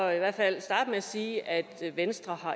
i hvert fald starte med at sige at venstre